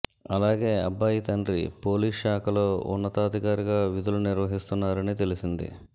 అలాగే అబ్బాయి తండ్రి పోలీస్ శాఖలో ఉన్నతాధికారిగా విధులు నిర్వర్తిస్తున్నారని తెలిసింది